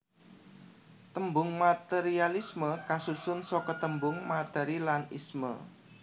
Tembung materialisme kasusun saka tembung materi lan isme